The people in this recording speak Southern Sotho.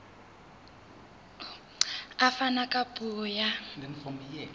a fana ka puo ya